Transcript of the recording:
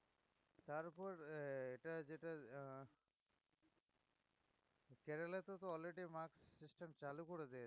তারউপর এটা যেটা আহ কেরালা তে তো already mask system চালু করে দিয়েছে